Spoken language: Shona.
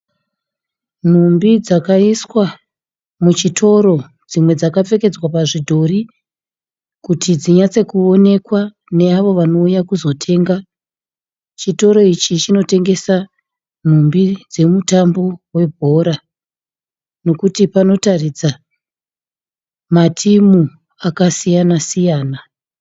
Nhumbi dzakaiswa muchitoro. Dzimwe dzakapfekedzwa pazvidhori kuti dzinyatsekuonekwa neavo vanouya kuzotenga. Chitoro ichi chinotengesa nhumbi dzomutambo webhora nekuti panotaridza matimu akasiyana siyana.